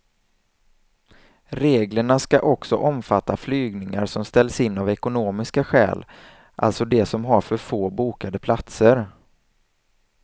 Reglerna ska också omfatta flygningar som ställs in av ekonomiska skäl, alltså de som har för få bokade platser.